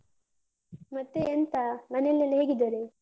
ಮತ್ತೆ ಎಂತ ಮನೆಯಲ್ಲೆಲ್ಲ ಹೇಗಿದ್ದಾರೆ?